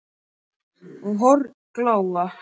og horn glóa